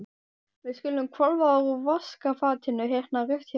Við skulum hvolfa úr vaskafatinu hérna rétt hjá.